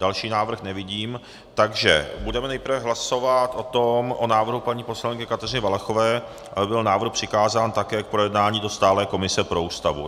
Další návrh nevidím, takže budeme nejprve hlasovat o návrhu paní poslankyně Kateřiny Valachové, aby byl návrh přikázán také k projednání do stálé komise pro Ústavu.